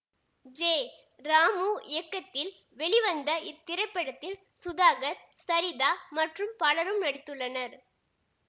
J Ramu இயக்கத்தில் வெளிவந்த இத்திரைப்படத்தில் சுதாகர் சரிதா மற்றும் பலரும் நடித்துள்ளனர்